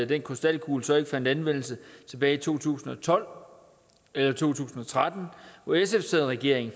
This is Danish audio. den krystalkugle så ikke fandt anvendelse tilbage i to tusind og tolv eller to tusind og tretten hvor sf sad i regering